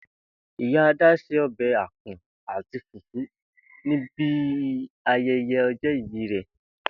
Ìyá Adá se o̩bè̩ àpò̩n àti fùfú ní bi aye̩ye̩ o̩jó̩ ìbí rè